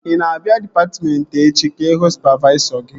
Ị na-abịa dịpatmentị echi ịhụ sụpavaisọ gị?